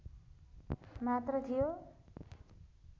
मात्र थियो